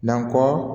Nankɔ